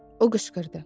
O qışqırdı.